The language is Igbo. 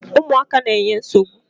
Ụmụaka na-enye nsogbu.